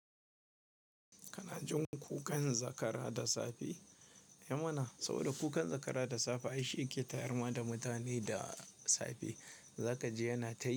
Kananjin kukan zakara da safe, ehh mana? Saboda kukan zakara da safe aishi yake tayar ma da mutane da safe. Zaka ji yana ta yi.